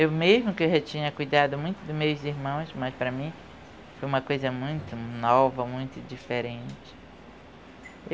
Eu mesmo que já tinha cuidado muito dos meus irmãos, mas para mim foi uma coisa muito nova, muito diferente.